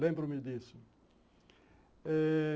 Lembro-me disso. Eh...